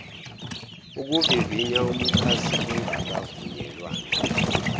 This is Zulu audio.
ukuvivinya umxhasi kungakavunyelwana